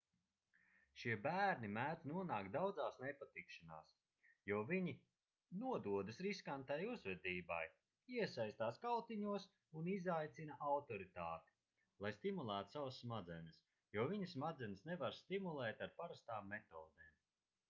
šie bērni mēdz nonākt daudzās nepatikšanās jo viņi nododas riskantai uzvedībai iesaistās kautiņos un izaicina autoritāti lai stimulētu savas smadzenes jo viņu smadzenes nevar stimulēt ar parastām metodēm